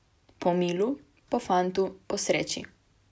Po milu, po fantu, po sreči.